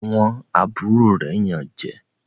Àwọn àbúrò rẹ Yàn jé.